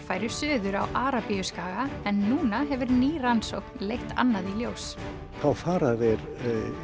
færu suður á Arabíuskaga en núna hefur ný rannsókn leitt annað í ljós þá fara þeir